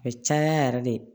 A bɛ caya yɛrɛ de